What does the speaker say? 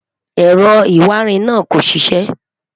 èrò ìwà ìrìn nà kò ṣiṣẹ mo